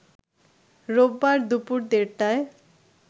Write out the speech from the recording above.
রোববার দুপুর দেড়টায়